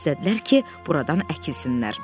İstədilər ki, buradan əkilsinlər.